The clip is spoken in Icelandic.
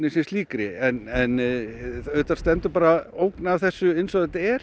sem slíkri en auðvitað stendur bara ógn af þessu eins og þetta er